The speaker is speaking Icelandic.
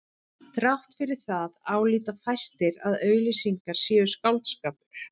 Þrátt fyrir það álíta fæstir að auglýsingar séu skáldskapur.